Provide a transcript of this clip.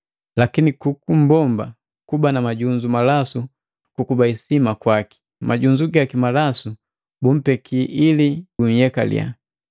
lakini kukummbomba kuba na majunzu malasu kukuba isima kwaki, majunzu gaki malasu bumpeki ili guyekaliya.